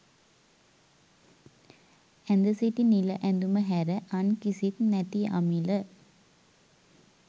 ඇඳ සිටි නිල ඇඳුම හැර අන් කිසිත් නැති අමිල